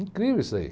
Incrível isso aí.